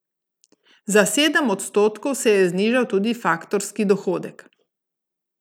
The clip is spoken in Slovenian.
Za sedem odstotkov se je znižal tudi faktorski dohodek.